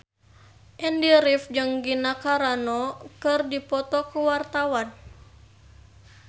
Andy rif jeung Gina Carano keur dipoto ku wartawan